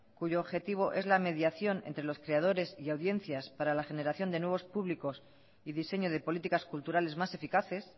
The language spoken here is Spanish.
cuyo objetivo es la mediación entre los creadores y audiencias para la generación de nuevos públicos y diseño de políticas culturales más eficaces